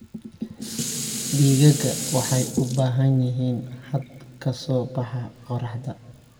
Digaagga waxay u baahan yihiin hadh ka soo baxa qorraxda.